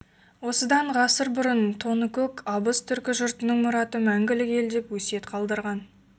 осыдан ғасыр бұрын тоныкөк абыз түркі жұртының мұраты мәңгілік елдеп өсиет қалдырған